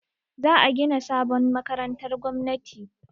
Za a gina sabon makarantar gwamnati.